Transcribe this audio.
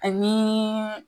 Ani